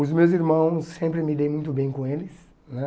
Os meus irmãos, sempre me dei muito bem com eles, né?